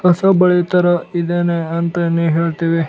ಹೊಸ ಬಳಿ ತರ ಇದೇನೇ ಅಂತ ನೀ ಹೇಳ್ತಿವಿ.